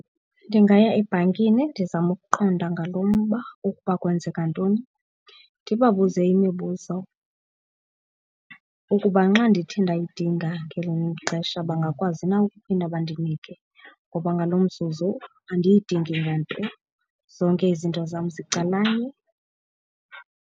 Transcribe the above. Ndingaya ebhankini ndizame ukuqonda ngalo mba ukuba kwenzeka ntoni. Ndibabuze imibuzo ukuba nxa ndithe ndayidinga ngelinye ixesha bangakwazi na ukuphinda bandinike ngoba ngalo mzuzu andiyidingi nganto, zonke izinto zam zicalanye.